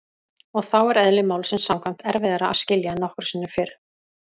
Og þá er- eðli málsins samkvæmt- erfiðara að skilja en nokkru sinni fyrr.